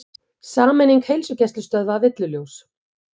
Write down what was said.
Sameining heilsugæslustöðva villuljós